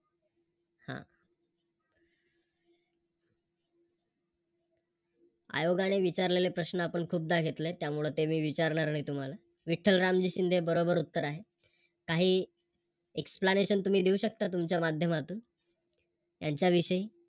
आयोगाने विचारलेले प्रश्न आपण खूपदा घेतले त्यामुळे ते मी विचारणार नाही तुम्हाला, विठ्ठल रामजी शिंदे बरोबर उत्तर आहे. काही Explanation तुम्ही देऊ शकता तुमच्या माध्यमातून त्यांच्या विषयी.